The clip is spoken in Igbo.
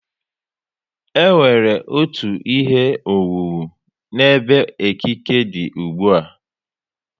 E nwere otú ihe owuwu n'ebe ekike dị ùgbúà